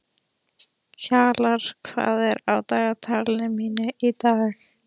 Kjalar, hvað er á dagatalinu mínu í dag?